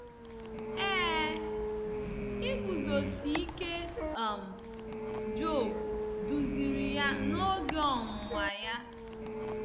Ee, iguzosi ike um Job duziri ya n’oge ọnwụnwa ya.